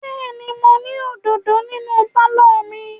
Bẹ́ẹ̀ ni, mo ní òdòdó nínú pálọ̀ mi.